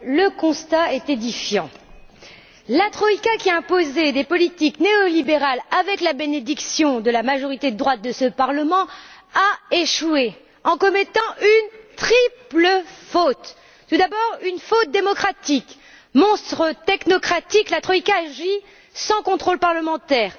Madame la Présidente, chers collègues, le constat est édifiant, la troïka, qui a imposé des politiques néolibérales avec la bénédiction de la majorité de droite de ce Parlement, a échoué en commettant une triple faute. Tout d'abord, une faute démocratique. Monstre technocratique, la troïka agit sans contrôle parlementaire.